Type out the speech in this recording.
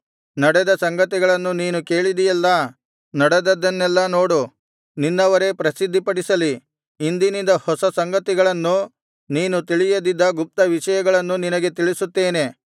ನಡೆದ ಸಂಗತಿಗಳನ್ನು ನೀನು ಕೇಳಿದಿಯಲ್ಲಾ ನಡೆದದ್ದನ್ನೆಲ್ಲಾ ನೋಡು ನಿನ್ನವರೇ ಪ್ರಸಿದ್ಧಿಪಡಿಸಲಿ ಇಂದಿನಿಂದ ಹೊಸ ಸಂಗತಿಗಳನ್ನು ನೀನು ತಿಳಿಯದಿದ್ದ ಗುಪ್ತವಿಷಯಗಳನ್ನು ನಿನಗೆ ತಿಳಿಸುತ್ತೇನೆ